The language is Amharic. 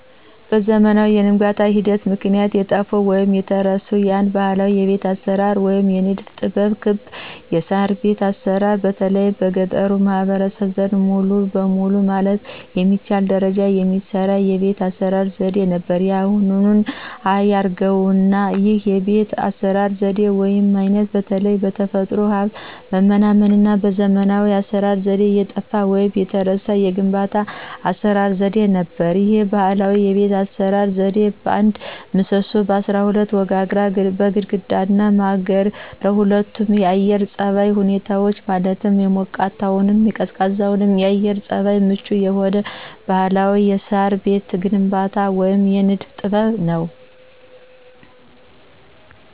በዘመናዊ የግንባታ ሂደት ምክንያት የጠፋው ወይንም የተረሳው አንድ ባህላዊ የቤት አሰራር ወይም የንድፍ ጥበብ ክብ የሳርቤት አሰራር በተለይ በገጠሩ ማህበረሰብ ዘንድ ሙሉ በሙሉ ማለት በሚቻል ደረጃ የሚሰራ የቤት አስራ ዘዴ ነበር ያሁኑን አያርገውና ይህ የቤት አሰራር ዘዴ ወይም አይነት በተለይ በተፈጥሮ ሀብት መመናመንና በዘመናዊ የአሰራር ዘዴ የጠፋ ወይንም የተረሳ የግንባታ የአሰራር ዘዴ ነበር። ይህ ባህላዊ የቤት አሰራር ዘዴ በአንድ ምሰሶ፣ በአስራ ሁለት ወጋግራ፣ በግድግዳና ማገር ለሁለቱም የአየር ፀባይ ሁኔታዎች ማለትም ለሞቃታማም ለቀዝቃዛም የአየር ፀባይ ምቹ የሆነ ባህላዊ የሳር ቤት ግንባታ ወይም የንድፈ ጥበብ ነው።